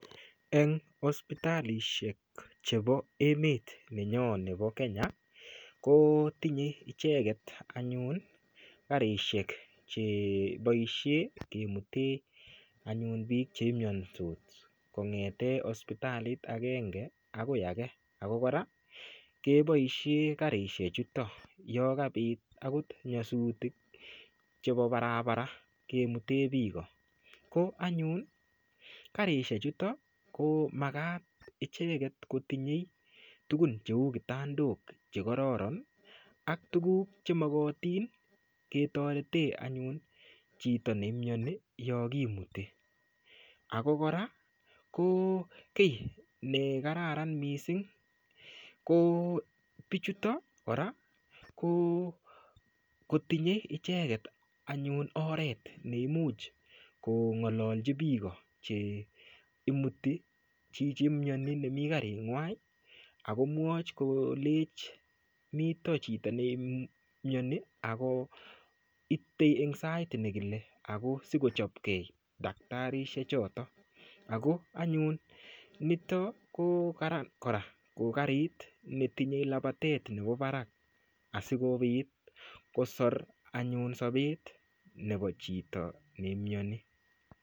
Eng' hospitalishek chebo emet nenyo nebo Kenya ko tinyei icheget anyun karishek cheboishe kemutee anyun biik cheimiyonsot kong'ete hospitalit agenge akoi age ako kora keboishe karishechoto yo kabit akot nyasutik chebo barabara kemutee biko ko anyun karishechoto ko makat icheget kotinyei tukun cheu kitandok chekororon ak tukuk chemokotin ketoret anyun chito neimyoni yo kimuti ako kora ko kii nekararan mising' ko bichutok kora ko kotinyei icheget oret anyun neimuch kong'ololji biko cheimuti chichi imyoni nemi karing'wai akomwoch kolech mito chito neimuti ako itei eng' sait nekile ako sikochopkei daktarishe choto ako anyun nito ko karan kora ko karit netinyei lapatet nebo barak asikobit kosor anyun sobet nebo chito ne imyoni